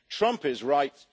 Trump is right.